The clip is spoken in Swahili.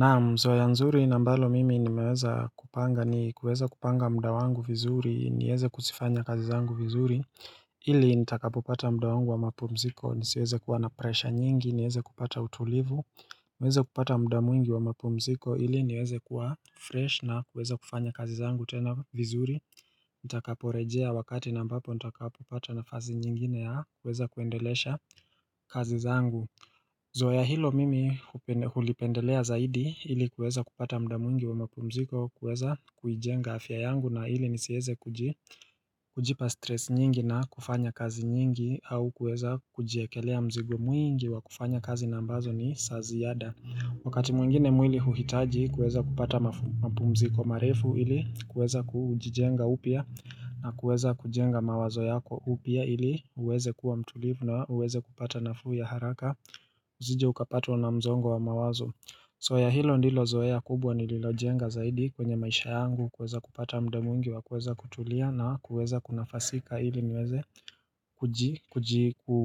Naam zoea nzuri ambalo mimi nimeweza kupanga ni kuweza kupanga mda wangu vizuri niweze kuzifanya kazi zangu vizuri ili nitakapopata mda wangu wa mapumziko nisiweze kuwa na pressure nyingi niweze kupata utulivu niweze kupata mda mwingi wa mapumziko ili niweze kuwa fresh na kuweza kufanya kazi zangu tena vizuri Nitakaporejea wakati na ambapo nitakapopata nafasi nyingine ya kuweza kuendelesha kazi zangu Zoea hilo mimi hulipendelea zaidi ili kueza kupata mda mwingi wa mapumziko kueza kujenga afya yangu na ili nisieze kujipa stress nyingi na kufanya kazi nyingi au kueza kujekelea mzigo mwingi wa kufanya kazi na ambazo ni za ziada. Wakati mwingine mwili huhitaji kuweza kupata mapumziko marefu ili kuweza kujijenga upya na kuweza kujenga mawazo yako upya ili uweze kuwa mtulivu na uweze kupata nafuu ya haraka Uzije ukapatwa na msongo wa mawazo zoea hilo ndilo zoea kubwa nililo jenga zaidi kwenye maisha yangu kuweza kupata mda mwingi wa kuweza kutulia na kuweza kuna fasika ili niweze